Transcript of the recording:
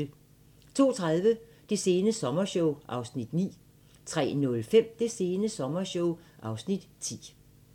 02:30: Det sene sommershow (Afs. 9) 03:05: Det sene sommershow (Afs. 10)